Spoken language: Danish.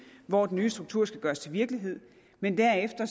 hvor den nye struktur skal gøres til virkelighed men derefter